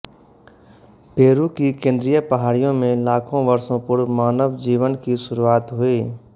Peru की केंद्रीय पहाड़ियों में लाखों वर्षों पूर्व मानव जीवन की शुरुआत हुई